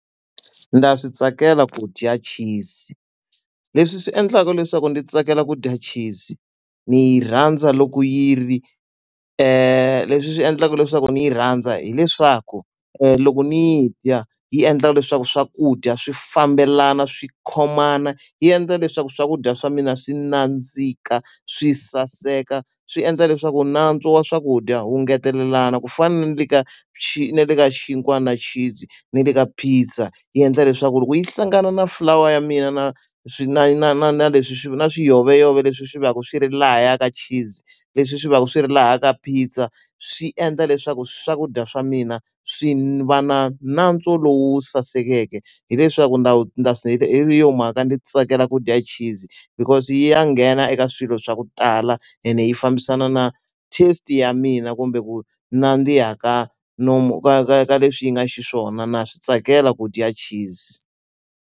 Ndza swi tsakela ku dya cheese. Leswi swi endlaka leswaku ndzi tsakela ku dya cheese ni yi rhandza loko yi ri leswi endlaka leswaku ni yi rhandza hileswaku loko ni yi dya, yi endlaka leswaku swakudya swi fambelana swi khomana, yi endla leswaku swakudya swa mina swi nandzika, swi saseka. Swi endla leswaku nantswo wa swakudya wu ngetelelana ku fana ni le ka na le ka xin'wana na cheese, na le ka pizza. Yi endla leswaku loko yi hlangana na flower ya mina na na na na na leswi swi na swiyoveyove leswi swi va ka swi ri lahaya ka cheese, leswi swi va swi ri laha ka pizza, swi endla leswaku swakudya swa mina swi va na nantswo lowu sasekeke. Hi leswaku ndza hi yona mhaka ndzi tsakela ku dya cheese, because yi ya nghena eka swilo swa ku tala ene yi fambisana na taste ya mina kumbe ku nandziha ka nomu ka ka ka leswi yi nga xiswona na swi tsakela ku dya cheese.